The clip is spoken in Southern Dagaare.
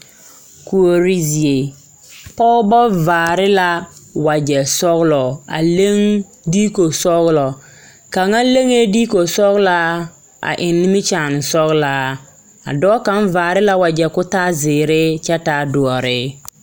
Kuori zie pɔgeba vaare la wagyɛ sɔglɔ a leŋ dikosɔglɔ kaŋa leŋee dikosɔglaa a eŋ nimikyaane sɔglaa a dɔɔ kaŋ vaare la wagyɛ ka o taa zeere kyɛ taa doɔre.